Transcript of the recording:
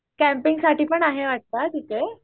कॅम्पिंगसाठी पण आहें वाटत तिथे